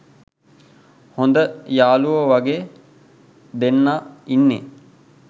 හොද යාලුවෝ වගේ දෙන්නා ඉන්නේ.